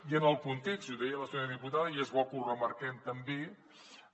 i en el context i ho deia la senyora diputada i és bo que ho remarquem també